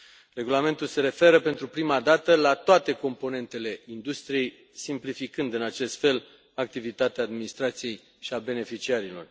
Regulamentul se referă pentru prima dată la toate componentele industriei, simplificând în acest fel activitatea administrației și a beneficiarilor.